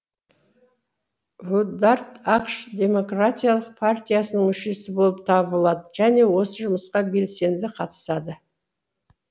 вудард ақш демократиялық партиясының мүшесі болып табылады және осы жұмысқа белсенді қатысады